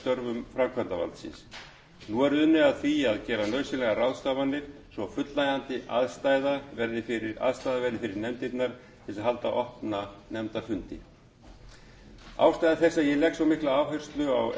nú er unnið að því að gera nauðsynlegar ráðstafanir svo fullnægjandi aðstaða verði fyrir nefndirnar til að halda opna nefndafundi ástæða þess að ég legg svo mikla áherslu á